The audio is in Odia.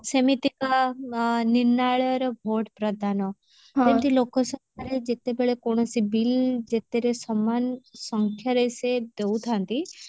ସେମିତିକା ଆ ନିର୍ନାଳୟ ର vote ପ୍ରଦାନ ସେମତି ଲୋକସଭାରେ ଯେତେବେଳେ କୌଣସି bill ଯେତେବେଳେ ସମାନ ସଂଖ୍ୟାରେ ସେ ଦଉଥାନ୍ତି